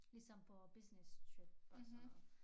Ligesom på businesstrip og sådan noget